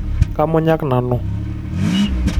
Kamunyak nanu .